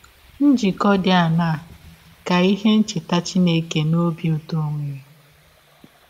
Njikọ dị aṅaa ka ihe ncheta Chineke na ọbi ụtọ nwere?